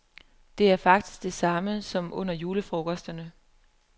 Det er faktisk det samme som under julefrokosterne.